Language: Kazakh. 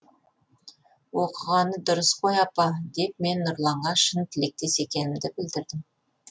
оқығаны дұрыс қой апа деп мен нұрланға шын тілектес екенімді білдірдім